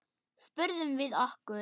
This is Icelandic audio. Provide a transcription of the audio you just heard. spurðum við okkur.